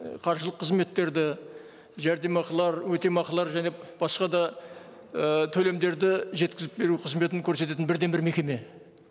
і қаржылық қызметтерді жәрдемақылар өтемақылар және басқа да і төлемдерді жеткізіп беру қызметін көрсететін бірден бір мекеме